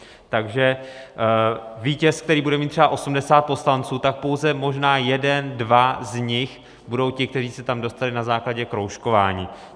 Takže vítěz, který bude mít třeba 80 poslanců, tak pouze jeden, dva z nich budou ti, kteří se tam dostali na základě kroužkování.